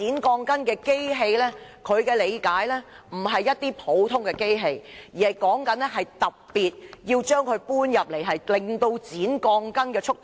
據他理解，剪鋼筋的機器不是普通機器，工人還要特別將機器搬出來，以加快剪鋼筋的速度。